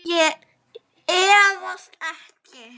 Ég efast ekki.